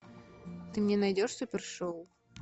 ты мне найдешь супершоу